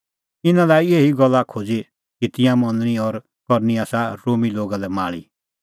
इनै लाई एही गल्ला खोज़ी कि तिंयां मनणी और करनी आसा रोमी लोगा लै माल़ी